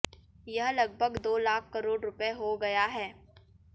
यह लगभग दो लाख करोड़ रुपए हो गया है